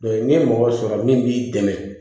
ni ye mɔgɔ sɔrɔ min b'i dɛmɛ